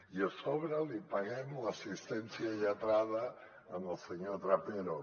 i a sobre li paguem l’assistència lletrada al senyor trapero